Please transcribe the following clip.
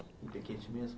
Em Piquete mesmo?